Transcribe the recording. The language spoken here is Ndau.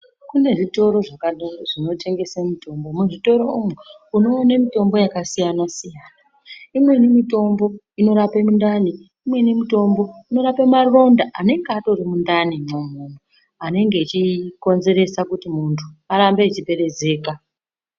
Kune zvitoro zvakanaka zvinotengese mitombo. Muzvitoro umu unoona mitombo yakasiyana siyana . Imweni mitombo unorape mundani, Imweni mitombo inorape maronda anenge atori mundanimwo umwomwo anenge achokonzera kuti muntu arambe echiperezeka.